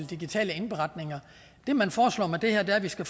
digitale indberetninger det man foreslår med det her er at vi skal